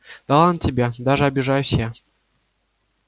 да ладно тебе даже обижаюсь я